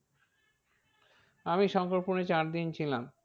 আমি শঙ্করপুরে চার দিন ছিলাম।